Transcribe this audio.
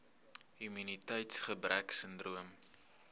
immuniteits gebrek sindroom